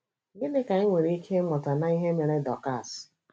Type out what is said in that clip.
Gịnị ka anyị nwere ike ịmụta n’ihe mere Dọkas?